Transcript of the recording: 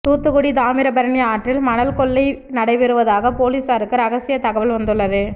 தூத்துக்குடி தாமிரபரணி ஆற்றில் மணல் கொள்ளை நடைபெறுவதாக போலீசாருக்கு ரகசிய தகவல் வந்துள்ளது